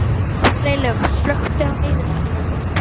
Freylaug, slökktu á niðurteljaranum.